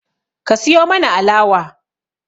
Ka siyo mana alawa